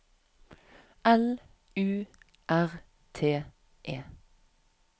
L U R T E